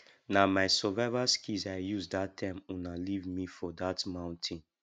na my survival skills i use dat time una leave me for dat mountain